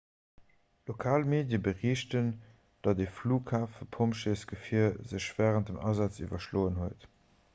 lokal medie berichten datt e flughafepompjeesgefier sech wärend dem asaz iwwerschloen huet